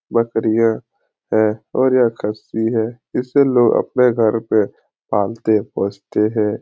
बकरियाँ है और यह खस्सी है इसे लोग अपने घर पे पालते पोसते है।